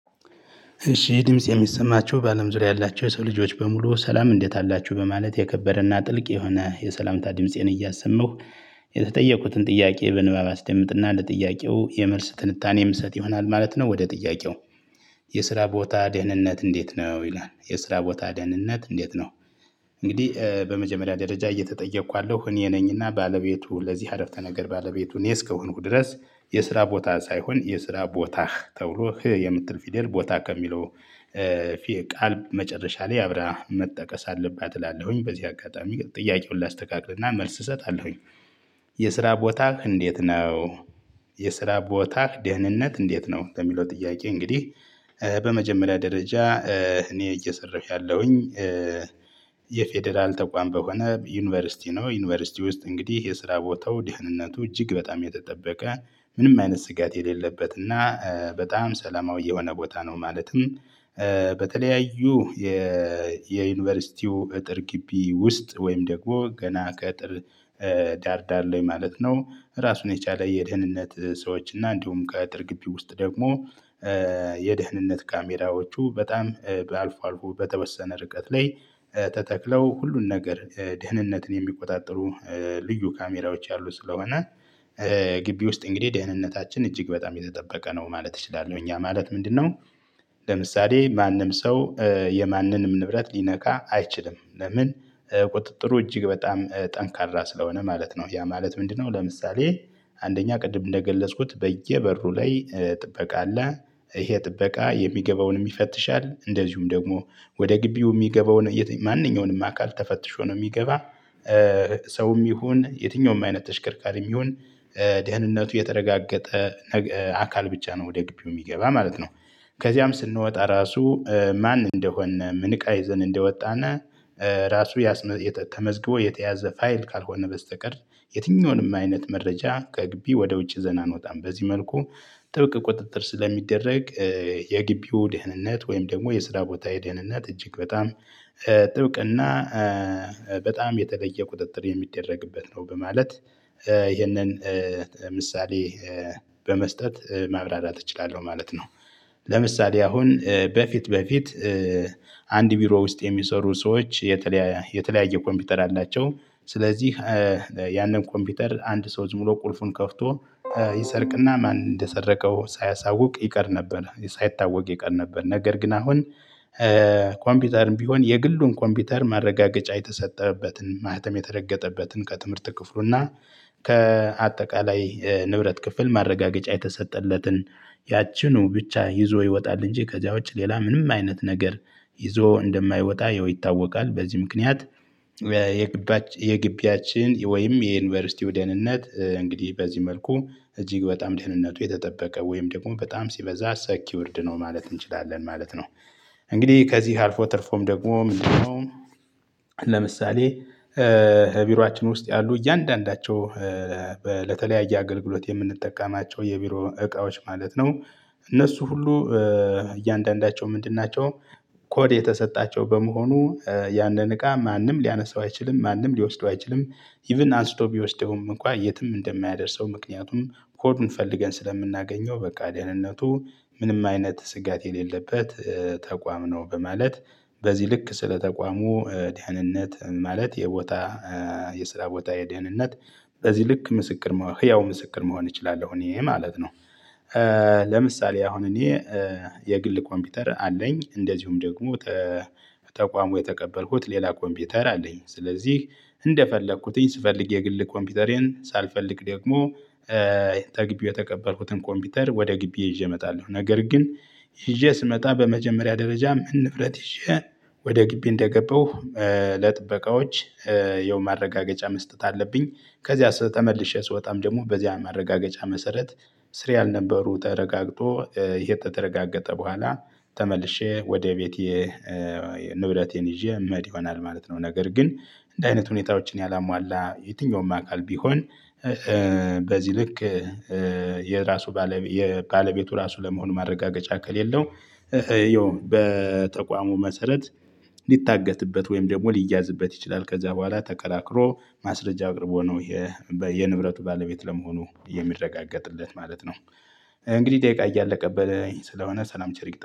እሺ ድምፄ የሚሰማቸው በአለም ዙሪያ ያላቸው የሰው ልጆች በሙሉ ሰላም እንዴት አላቸው በማለት የከበረና ጥልቅ የሆነ የሰላምታ ድምፄን እያሰማሁ የተጠየቁትን ጥያቄ በንባብ አስደምጥና ለጥያቄው የመልስ ትንታኔ የምሰጥ ይሆናል ማለት ነው። ወደ ጥያቄው የስራ ቦታ ደህንነት እንዴት ነው ይላል? የስራ ቦታ ደህንነት እንዴት ነው? እንግዲህ በመጀመሪያ ደረጃ እየተጠየኩ ያለው እኔ ነኝና ባለቤቱ ለዚህ አረፍተ ነገር ባለቤቱ እስከሆንኩ ድረስ የስራ ቦታ ሳይሆን የስራ ቦታህ ተብሎ የምትል ፊደል ቦታ ከሚለው ፊት ቃል መጨረሻ ላይ አብራ መጠቀስ አለባት እላለሁኝ። በዚህ አጋጣሚ ጥያቄውን ላስተካክልና መልስ እሰጣለሁኝ። የስራ ቦታህ እንዴት ነው? የስራ ቦታህ ደህንነት እንዴት ነው በሚለው ጥያቄ እንግዲህ በመጀመሪያ ደረጃ እኔ እየሰራሁኝ ያለሁኝ። የፌደራል ተቋም በሆነ ዩኒቨርሲቲ ነው ዩኒቨርሲቲ ውስጥ እንግዲህ የስራ ቦታው ድህንነቱ እጅግ በጣም የተጠበቀ ምንም አይነት ስጋት የሌለበት እና በጣም ሰላማዊ የሆነ ቦታ ነው። ማለትም በተለያዩ የዩኒቨርሲቲው እጥር ግቢ ውስጥ ወይም ደግሞ ገና ከአጥር ዳር ዳር ላይ ማለት ነው። ራሱን የቻለ የደህንነት ሰዎች እና እንዲሁም ከአጥር ግቢ ውስጥ ደግሞ የደህንነት ካሜራዎቹ በጣም በአልፎ አልፎ በተወሰነ ርቀት ላይ ተተክለው ሁሉን ነገር ደህንነትን የሚቆጣጠሩ ልዩ ካሜራዎች ያሉ ስለሆነ። ግቢ ውስጥ እንግዲህ ደህንነታችን እጅግ በጣም የተጠበቀ ነው ማለት እችላለሁ ያ ማለት ምንድነው? ለምሳሌ ማንም ሰው የማንንም ንብረት ሊነካ አይችልም። ለምን? ቁጥጥሩ እጅግ በጣም ጠንካራ ስለሆነ ማለት ነው። ያ ማለት ምንድነው? ለምሳሌ አንደኛ ቅድም እንደገለጽኩት በየበሩ ላይ ጥበቃ አለ። ይሄ ጥበቃ የሚገባውን ይፈትሻል እንደዚሁም ደግሞ ወደ ግቢው የሚገባውን ማንኛውንም አካል ተፈትሾ ነው የሚገባ። ሰውም ይሁን የትኛውም አይነት ተሽከርካሪም ይሁን ደህንነቱ የተረጋገጠ አካል ብቻ ነው ወደ ግቢው የሚገባ ማለት ነው። ከዚያም ስንወጣ ራሱ ማን እንደሆን ምን እቃ ይዘን እንደወጣና ራሱ የተመዝግቦ የተያዘ ፋይል ካልሆነ በስተቀር የትኛውንም አይነት መረጃ ከግቢ ወደ ውጭ ይዘን እንወጣም። በዚህ መልኩ በተለያዩ የዩኒቨርሲቲው እጥር ግቢ ውስጥ ወይም ደግሞ ገና ከአጥር ዳር ዳር ላይ ማለት ነው። ራሱን የቻለ የደህንነት ሰዎች እና እንዲሁም ከአጥር ግቢ ውስጥ ደግሞ በጣም የተለየ ቁጥጥር የሚደረግበት ነው። በማለት ይህንን ምሳሌ በመስጠት ማብራራት እችላለሁ ማለት ነው። ለምሳሌ አሁን በፊት በፊት አንድ ቢሮ ውስጥ የሚሰሩ ሰዎች የተለያየ ኮምፑተር አላቸው። ስለዚህ ያንን ኮምፑተር አንድ ሰው ዝም ብሎ ቁልፉን ከፍቶ ይሰርቅና ማን እንደሰረቀው ሳያሳውቅ ይቀር ነበር ሳይታወቅ ይቀር ነበር። ነገር ግን አሁን ኮምፒውተርም ቢሆን የግሉን ኮምፒውተር ማረጋገጫ የተሰጠበትን ማህተም የተረገጠበትን ከትምህርት ክፍሉና ከአጠቃላይ ንብረት ክፍል ማረጋገጫ የተሰጠለትን ያቺኑ ብቻ ይዞ ይወጣል እንጂ ከዚያ ውጪ ሌላ ምንም አይነት ነገር ይዞ እንደማይወጣ ያው ይታወቃል። በዚህ ምክንያት የግቢያችን ወይም የዩኒቨርሲቲው ደህንነት እንግዲህ በዚህ መልኩ እጅግ በጣም ደህንነቱ የተጠበቀ ወይም ደግሞ በጣም ሲበዛ ሰኪውርድ ነው ማለት እንችላለን ማለት ነው። እንግዲህ ከዚህ አልፎ ትርፎም ደግሞ ምንድነው? ለምሳሌ ቢሮአችን ውስጥ ያሉ እያንዳንዳቸው ለተለያየ አገልግሎት የምንጠቀማቸው የቢሮ እቃዎች ማለት ነው። እነሱ ሁሉ እያንዳንዳቸው ምንድን ናቸው? ኮድ የተሰጣቸው በመሆኑ ያንን እቃ ማንም ሊያነሳው አይችልም ማንም ሊወስደው አይችልም። ኢቭን አንስቶ ቢወስደውም እንኳን የትም እንደማያደርሰው ምክንያቱም ኮዱን ፈልገን ስለምናገኘው በቃ ደህንነቱ ምንም አይነት ስጋት የሌለበት ተቋም ነው። በማለት በዚህ ልክ ስለ ተቋሙ ደህንነት ማለት የቦታ የስራ ቦታ የደህንነት በዚህ ልክ ምስክር መሆን ህያው ምስክር መሆን እችላለሁ እኔ ማለት ነው። ለምሳሌ አሁን እኔ የግል ኮምፒውተር አለኝ እንደዚሁም ደግሞ ተቋሙ የተቀበልኩት ሌላ ኮምፒውተር አለኝ ስለዚህ እንደፈለኩትኝ ስፈልግ የግል ኮምፒውተሬን ሳልፈልግ ደግሞ ተግቢው የተቀበልኩትን ኮምፒውተር ወደ ግቢዬ ይዤ እመጣለሁ። ነገር ግን ይዤ ስመጣ በመጀመሪያ ደረጃ ምን ንብረት ይዤ ወደ ግቢ እንደገባሁ ለጥበቃዎች ያው ማረጋገጫ መስጠት አለብኝ። ከዚያ ተመልሼ ስወጣም ደግሞ በዚያ ማረጋገጫ መሰረት ስሬ ያልነበሩ ተረጋግጦ ይሄ ተረጋገጠ በኋላ ተመልሼ ወደ ቤቴ ንብረቴን ይዤ የምሄድ ይሆናል ማለት ነው። ነገር ግን እንዲህ አይነት ሁኔታዎችን ያላሟላ የትኛውም አካል ቢሆን በዚህ ልክ የራሱ ባለ የባለቤቱ ራሱ ለመሆኑ ማረጋገጫ ከሌለው ይኸው በተቋሙ መሰረት ሊታገትበት ወይም ደግሞ ሊያዝበት ይችላል። ከዛ በኋላ ተከራክሮ ማስረጃ አቅርቦ ነው ይሄ የንብረቱ ባለቤት ለመሆኑ የሚረጋገጥለት ማለት ነው። እንግዲህ ደቂቃ እያለቀብኝ ስለሆነ ሰላም ቸር ይግጠ